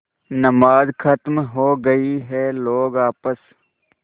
नमाज खत्म हो गई है लोग आपस